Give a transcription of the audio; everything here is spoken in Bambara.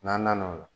N'an nana o la